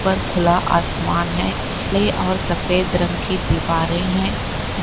पर खुला आसमान है। ले और सफेद रंग की दीवारे हैं। ब् --